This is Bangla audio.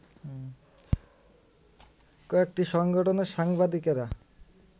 কয়েকটি সংগঠনের সাংবাদিকেরা